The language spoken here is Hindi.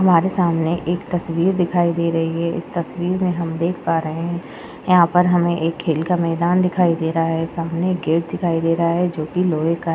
हमारे सामने एक तस्वीर दिखाई दे रही है इस तस्वीर में हम देख पा रहे है यहाँ पर हमे एक खेल का मैदान दिखाई दे रहा है सामने एक गेट दिखाई दे रहा है जोकि लोहे का है।